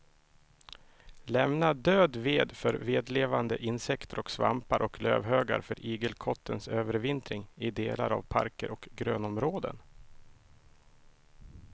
Lämna död ved för vedlevande insekter och svampar och lövhögar för igelkottens övervintring i delar av parker och grönområden.